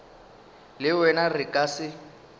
le wena re ka se